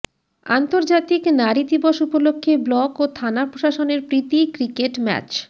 আন্তর্জাতিক নারি দিবস উপলক্ষে ব্লক ও থানা প্রশাসনের প্রীতি ক্রিকেট ম্যাচ